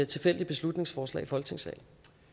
tilfældige beslutningsforslag i folketingssalen